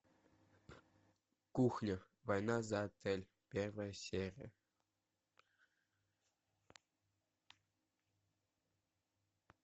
кухня война за отель первая серия